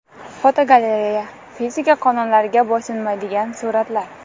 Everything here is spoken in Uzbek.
Fotogalereya: Fizika qonunlariga bo‘ysunmaydigan suratlar.